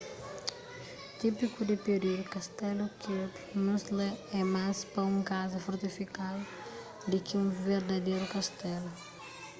típiku di períudu kastelu kirby muxloe é más pa un kaza fortifikadu di ki un verdaderu kastelu